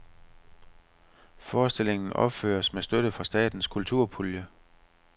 Forestillingen opføres med støtte fra statens kulturpulje.